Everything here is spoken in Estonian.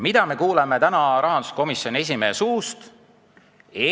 Mida me aga kuulsime täna rahanduskomisjoni esimehe suust?